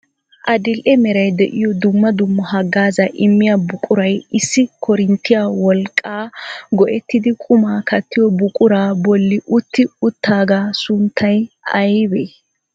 Adil"e meray de'iyo dumma dumma haggaazza immiyaa buquray issi koorinttiyaa wolqqama go"ittidi qumaa kattiya buquraa bolli utti uttaaga sunttay aybee?